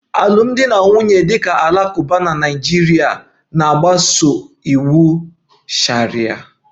Alụmdi na nwunye ndị Alakụba na Naịjirịa na-agbaso iwu sharia